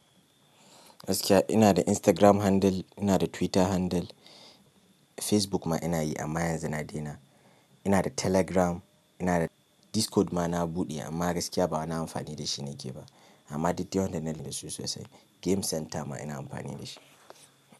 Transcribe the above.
Gaskiya ina da Instagram handle, ina da Twitter handle, Facebook ma ina yi amma yanzu na daina. Ina da Telegram, ina da Discord ma na buɗe amma gaskiya ba wani amfani da shi na ke ba. Amma duk dai waɗannan da su sosai game center ma ina amfani da shi.